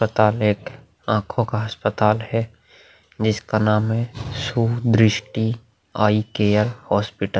अस्पताल एक आँखों का अस्पताल है जिसका नाम है Shubh Drishti eye care hospital |